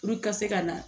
Puruke ka se ka na